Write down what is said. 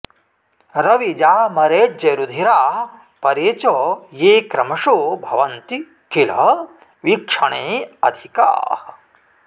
रविजामरेज्यरुधिराः परे च ये क्रमशो भवन्ति किल वीक्षणे अधिकाः